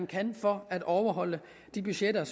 kan for at overholde de budgetter